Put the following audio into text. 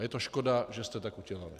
A je to škoda, že jste tak udělali.